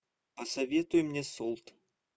посоветуй мне солт